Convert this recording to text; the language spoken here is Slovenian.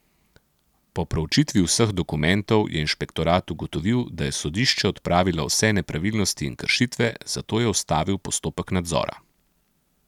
Po proučitvi vseh dokumentov je inšpektorat ugotovil, da je sodišče odpravilo vse nepravilnosti in kršitve, zato je ustavil postopek nadzora.